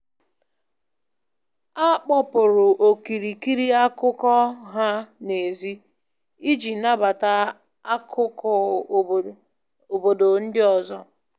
A kpọpụrụ okirikiri akụkọ ha n'èzí iji nabata akụkụ obodo ndị ọzọ